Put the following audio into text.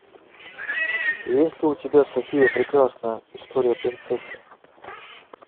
есть ли у тебя софия прекрасная история принцессы